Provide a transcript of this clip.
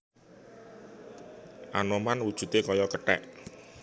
Anoman wujudé kaya kethèk